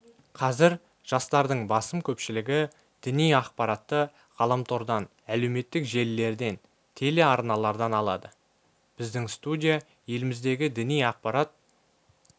қазір жастардың басым көпшілігі діни ақпаратты ғаламтордан әлеуметтік желілерден телеарналардан алады біздің студия еліміздегі діни ақпарат